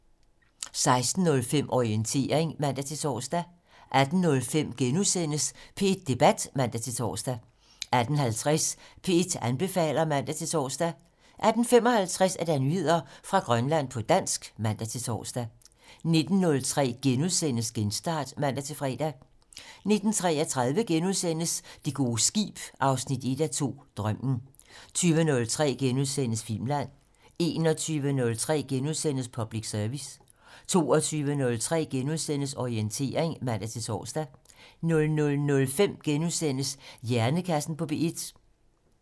16:05: Orientering (man-tor) 18:05: P1 Debat *(man-tor) 18:50: P1 anbefaler (man-tor) 18:55: Nyheder fra Grønland på dansk (man-tor) 19:03: Genstart *(man-fre) 19:33: Det gode skib 1:2 - Drømmen * 20:03: Filmland * 21:03: Public Service * 22:03: Orientering *(man-tor) 00:05: Hjernekassen på P1 *